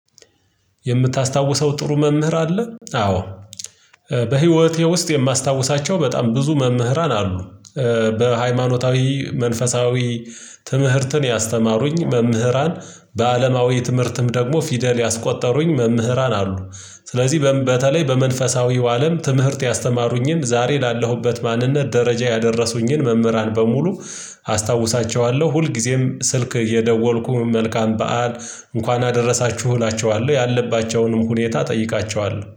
የምታስታውሰው ጥሩ መምህር አለ? አዎ በህይወቴ ውስጥ የማስታውሳቸው በጣም ብዙ መምህራን አሉ። በሃይማኖታዊ መንፈሳዊ ትምህርትን ያስተማሩኝ መምህራን በአለማዊ ትምህርትም ደግሞ ፊደል ያስቆጠሩኝ መምህራን አሉ። ስለዚህ በተለይ በመንፈሳዊው አለም ትምህርት ያስተማሩኝን ዛሬ ላለሁበት ማንነት ደረጃ ያደረሱኝን መምህራን በሙሉ አስታውሳቸኋለሁ ሁልጊዜም ስልክ እየደወልኩ መልካም በዓል እንኳን አደረሳችሁ እላቸኋለሁ ያለባቸውንም ሁኔታ እጠይቃቸዋለሁ